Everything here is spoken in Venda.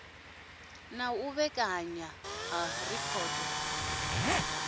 na u vhekanywa ha rekhodo